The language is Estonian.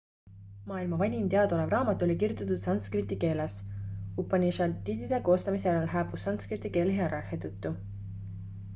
maailma vanim teadaolev raamat oli kirjutatud sanskriti keeles upanišadide koostamise järel hääbus sankskriti keel hierarhia tõttu